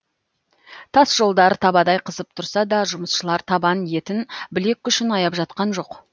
тас жолдар табадай қызып тұрса да жұмысшылар табан етін білек күшін аяп жатқан жоқ